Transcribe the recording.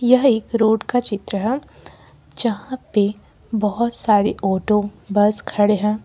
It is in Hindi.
यह एक रोड का चित्र है जहां पे बहुत सारी ऑटो बस खड़े हैं।